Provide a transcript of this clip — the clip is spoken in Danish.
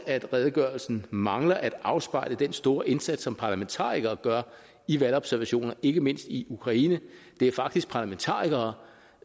at redegørelsen mangler at afspejle den store indsats som parlamentarikere gør i valgobservationer ikke mindst i ukraine det er faktisk parlamentarikere